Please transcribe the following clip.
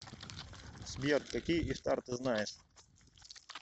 сбер какие ифтар ты знаешь